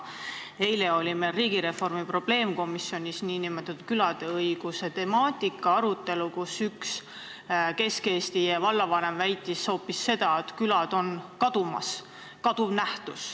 Eile oli meil riigireformi probleemkomisjonis külade õiguste teemal arutelu, kus üks Kesk-Eesti vallavanem väitis, et külad on kadumas.